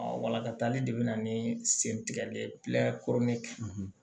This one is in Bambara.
walakatali de bɛ na ni sen tigɛli ye